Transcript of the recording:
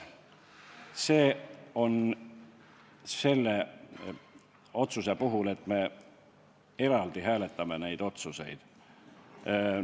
See on selle otsuse hääletus, et me hääletame neid otsuseid eraldi.